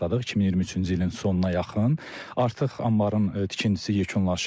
2023-cü ilin sonuna yaxın artıq anbarın tikintisi yekunlaşıb.